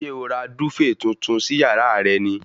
Ṣé o ra dúfèè tuntun sí yàrá rẹ ni?